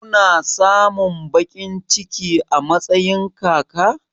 Kuna samun baƙin ciki a matsayin kaka?